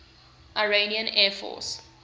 iranian air force